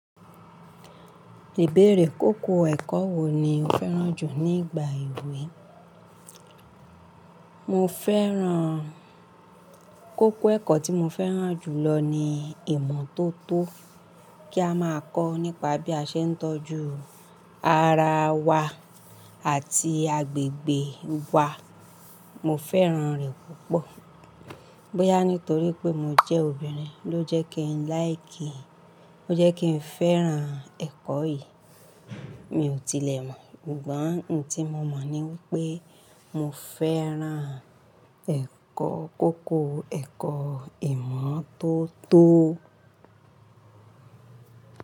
Ibéèrè, kókó ẹ̀kọ́ wo ni o fẹ́ràn jù nígbà ewé? Mo fẹ́ràn, kókó ẹ̀kọ́ tí mo fẹ́ràn jù lọ ni ìmọ́tótó, kí a máa kọ́ nípa bí a ṣe ń tọ́jú ara wa àti agbègbè wa. Mo fẹ́ràn rẹ̀ púpọ̀. Bóyá nítorí pé mo jẹ́ obìnrin ló jẹ́ kí n like, ló jẹ́ kí n fẹ́ràn ẹ̀kọ́ yìí. Mi ò tilẹ̀ mọ̀, ṣùgbọ́n ohun ti mo mọ̀ ni wipé mo fẹ́ràn ẹ̀kọ́ kókó ẹ̀kọ́ ìmọ́tótó.